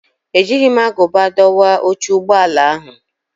Ejighị m agụba dọwa oche ụgbọ ala ahụ.